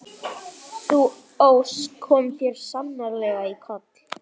Sú ósk kom þér sannarlega í koll.